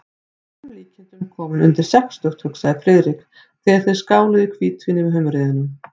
Að öllum líkindum kominn undir sextugt, hugsaði Friðrik, þegar þeir skáluðu í hvítvíni með humrinum.